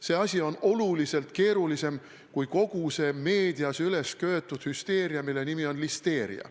See asi on tunduvalt keerulisem kui kogu see meedias ülesköetud hüsteeria, mille nimi on listeeria.